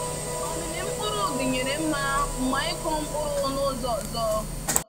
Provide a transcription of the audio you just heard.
Omimi mkpụrụ dinyere nma mgbe anyị kụrụ mkpụrụ n'ụzọ ọzọ.